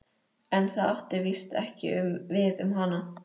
En það átti víst ekki við um hana.